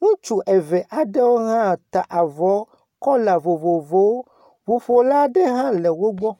Ŋutsu eve aɖewo hã ta avɔ kɔla vovovowo. Ŋuƒola aɖe hã le wo gbɔ.